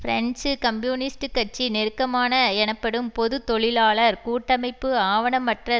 French communist கட்சி நெருக்கமான எனப்படும் பொது தொழிலாளர் கூட்டமைப்பு ஆவணமற்ற